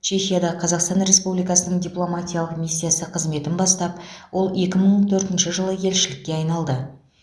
чехияда қазақстан республикасының дипломатиялық миссиясы қызметін бастап ол екі мың төртінші жылы елшілікке айналды